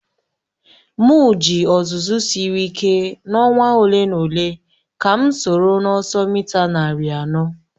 M ji ọzụzụ siri ike n'ọnwa ole na ole ka m soro n'ọsọ mita narị anọ.